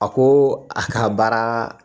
A ko a ka baara